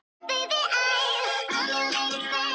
Ég man eftir mörgum trúboðum sem stóðu að samkomum.